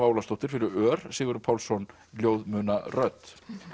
Ólafsdóttir fyrir ör Sigurður Pálsson ljóð muna rödd